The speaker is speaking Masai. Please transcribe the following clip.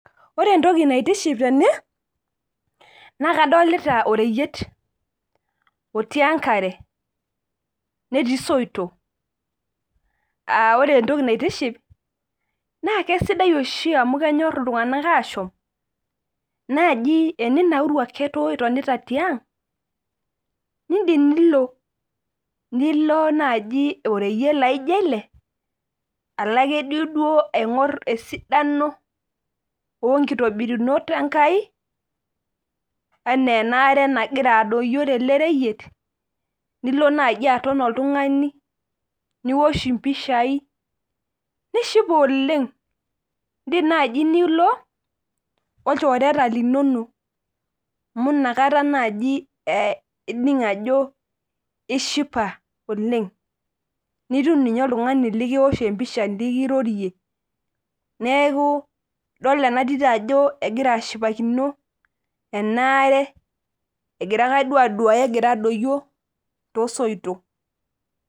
Ore entoki naitishipo tene, naa kadolita oreyiet otii enkare netii soitok .Aa ore entoki naitiship, naa keisidai amu kenyor oshi iltunganak ashom naaji teninauru itonita ake tiang ,nindim nilo. Nilo naajo oreyiet laijo ele, alo duake aingor esidano onkitobirunot Enkai ena enaare nagira adoyio tele reyiet, nilo naaji aton oltungani niwosh mpishai nishipayu oleng. Indim naaji nilo olchoreta linonok amu inakata naaji ining ajo ishipa oleng .Nitum ninye oltungani likiwosh empisha nikirorie .Neeku idol ena tito ajo kegira ashipakino enaare egira duake aduaya agira adoyio toosoitok.